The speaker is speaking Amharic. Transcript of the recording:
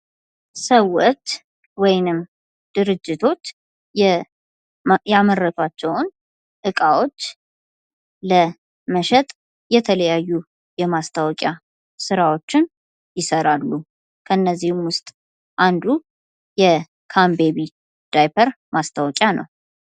ሰዎች ወይንም ድርጅቶች ያመረቷቸውን እቃዎች ለመሸጥ የተለያዩ የማስታወቂያ ስራዎችን ይሰራሉ። ከነዚህም ዉስጥ አንዱ የካምቤቢ ማስታወቂያ ነው።